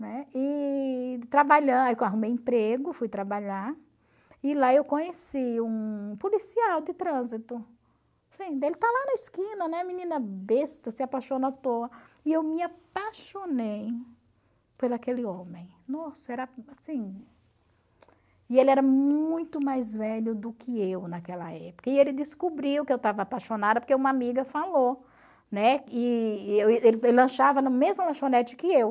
aí eu arrumei emprego, fui trabalhar, e lá eu conheci um policial de trânsito, ele tá lá na esquina, né, menina besta, se apaixonou à toa, e eu me apaixonei por aquele homem, nossa, era assim, e ele era muito mais velho do que eu naquela época, e ele descobriu que eu tava apaixonada porque uma amiga falou, né, e ele lanchava na mesma lanchonete que eu,